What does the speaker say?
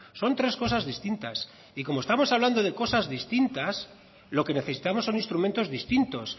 son tres cosas distintas y como estamos hablando de cosas distintas lo que necesitamos son instrumentos distintos